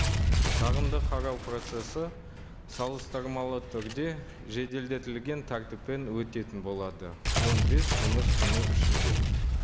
шағымды қарау процессі салыстырмалы түрде жеделдетілген тәртіппен өтетін болады он бес жұмыс күні ішінде